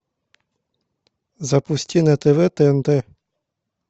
запусти на тв тнт